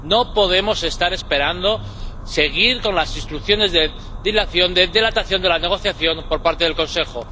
No podemos estar esperando, seguir con las instrucciones de dilación, de dilatación de la negociación por parte del Consejo.